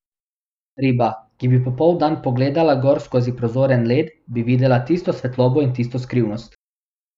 Riba, ki bi popoldan pogledala gor skozi prozoren led, bi videla tisto svetlobo in tisto skrivnost.